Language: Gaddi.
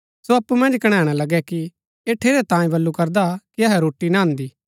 सो अप्पु मन्ज कणैणा लगै कि ऐह ठेरै तांयें बल्लू करदा कि अहै रोटी ना अन्दी